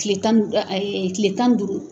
Tile tan ayi tile tan ni duuru